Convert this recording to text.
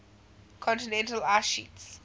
continental ice sheets